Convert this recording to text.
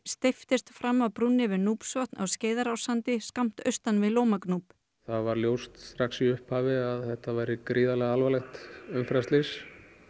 steyptist fram af brúnni yfir á Skeiðarársandi skammt austan við Lómagnúp það varð ljóst strax í upphafi að þetta væri gríðarlega alvarlegt umferðarslys